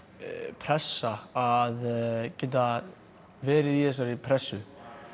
pressa að geta verið í þessari pressu